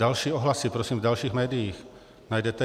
Další ohlasy, prosím, v dalších médiích najdete.